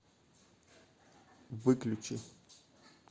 выключи